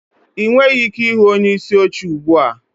Ị nweghị ike ịhụ onyeisi oche ugbu a